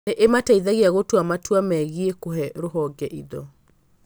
Nĩ ĩmateithagia gũtua matua megiĩ kũhe rũhonge indo.